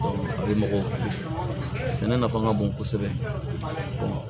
mɔgɔw sɛnɛ nafa ka bon kosɛbɛ